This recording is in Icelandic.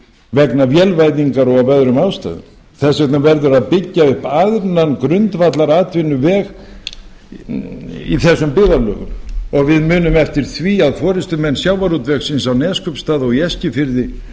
vegna vélvæðingar og af öðrum ástæðum þess vegna verður að byggja upp annan grundvallaratvinnuveg í þessum byggðarlögum og við munum eftir því að forustumenn sjávarútvegsins í neskaupstað og á eskifirði